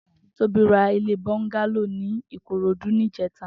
Tobi rà ilé bọngàló ni Ikorodu nijètá